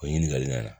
O ɲininkali nana